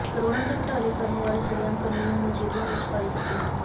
ਕਰੋੜਾਂ ਦੇ ਘੁਟਾਲੇ ਕਰਨ ਵਾਲੇ ਸ਼ਰੇਆਮ ਕਾਨੂੰਨ ਨੂੰ ਜੇਭਾਂ ਵਿਚ ਪਾਈ ਫਿਰਦੇ ਹਨ